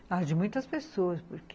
Ah, de muitas pessoas, porque...